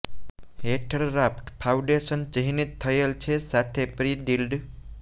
હેઠળ raft foundation ચિહ્નિત થયેલ છે સાથે પ્રિ ડ્રિલ્ડ